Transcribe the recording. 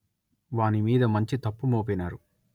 వానిమీద మంచి తప్పు మోపినారు